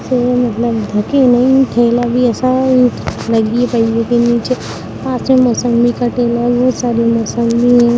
थके हुए हैं थेला भी ऐसा है मौसंबि भी कटे हुए हैं बहुत सारे मौसंबि